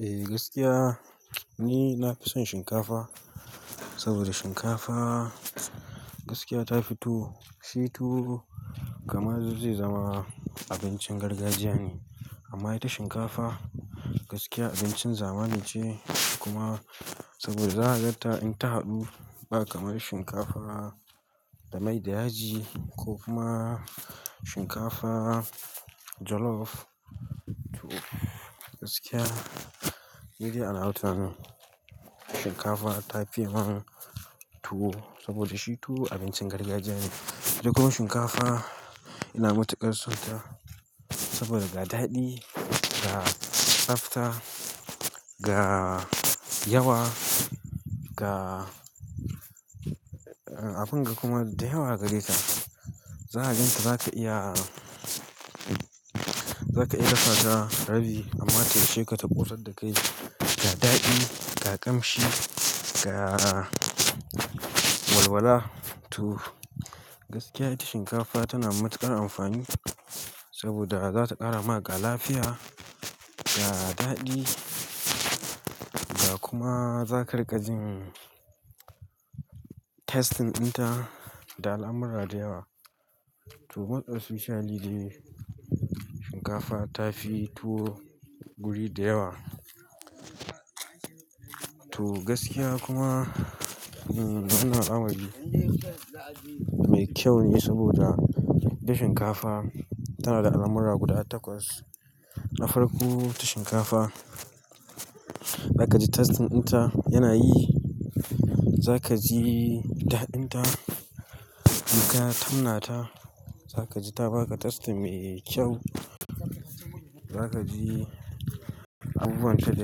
Eh gaskiya ni nafi son shinkafa, saboda shinkafa gaskiya ta fito tuwo shi tuwo kamar zai zama abincin gargajiya ne. Amma ita shinkafa gaskiya abincin zamanin ce kuma saboda zaka gan ta in ta haɗu ba kamar shinkafa da mai da yaji ko kuma shinkafa jollof. To gaskiya, ni dai a nawa tunanin shinkafa ta fiye man tuwo saboda shi tuwo abincin gargajiya ne. Dogon shinkafa yana matuƙar son ta saboda ga daɗi, ga tsafta, ga yawa, ga abun ga kuma da yawa gare ta. Zaka gan ta zaka iya, zaka iya dafa ta rabi amma tayi shekata ƙosar da ka yi. Ga daɗi, ga ƙamshi, ga walwala to gaskiya ita shinkafa tana matuƙar amfani saboda zata ƙara maka lafiya, ga daɗi da kuma za ka riƙa jin tastin dnta da al'amurra da yawa. To most especially dai shinkafa tafi tuwo guri da yawa. To gaskiya kuma uhmm wananna al, amar mai kyau ne sabida ita shinkafa tana da abubuwa guda takwas na farko ta shinkafa, za ka ji tastin dinta yana yi. Za ka ji daɗin ta, idan ka tammana ta za ka ji ta baka tastin mai kyau. Za ka ji abubuwan ta da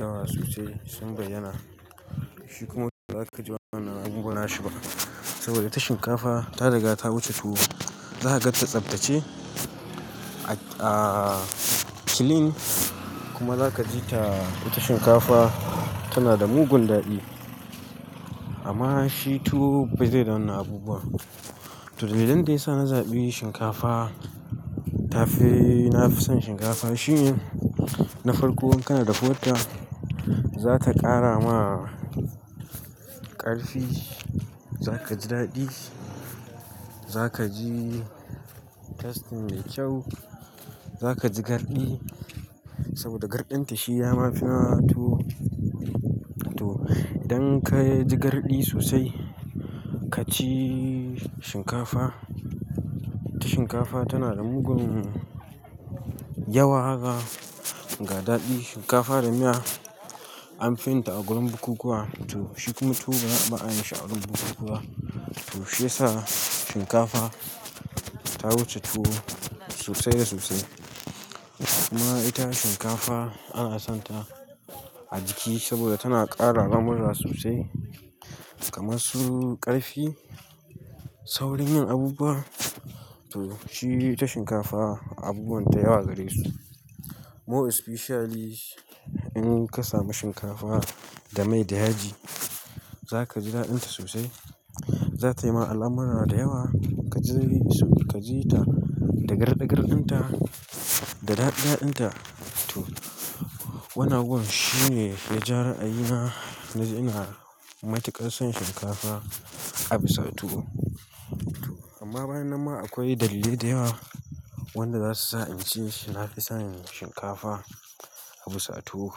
yawa sosai sun bayyana. Shi kuma tuwo ba za ka ji wannan abun ba nashi ba saboda ita shinkafa ta daga ta wuce tuwo. Zaka ganta tsaftace a slim kuma zaka jibta ita shinkafa tamada mugun dadi amma shi tuwo bai da wannan abubuwa. To, dalilan da yasa na zaɓi shinkafa, tafi nafi son shinkafa shine na farko kanada da huwarta zata ƙara ma ƙarfi. Za ka ji daɗi. Zaka ji testin mai kyau zaka ji gardi saboda shigardin ta yama fi na tuwo, to idan kaji gardi kaci shinkafa ita ahinkafa tana da mugum yawa haka ga daɗi. Shinkafa da miya an fi yun ta a gurin bukukkuwa to shi kuma tuwo ba a yi shi a wurin bukukkuwa. To shi ya sa shinkafa ta wuce tuwo sosai da sosai. Kuma ita shinkafa ana son ta a jiki saboda tana ƙara lamura sosai kamar su ƙarfi. Saurin yin abubuwa to shi ita shinkafa abubuwan ta yawa gare su. More especially in kasa mu shinkafa da mai da yaji. Za ka ji daɗin ta sosai. Za tayi ma al'amurra da yawa. Ka ji ka ji ta da garɗi garɗin ta, da daɗi daɗin ta. To wannan abubuwan shine yaja ra, a yina na ji ina matuƙar son shinkafa a bisa tuwo. Amma bayan nan ma akwai dalilai da yawa wanda za su sa in ce nafi son shinkafa a bisa tuwo.